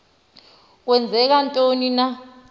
kwenzeka ntoni na